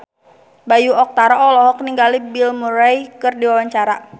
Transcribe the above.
Bayu Octara olohok ningali Bill Murray keur diwawancara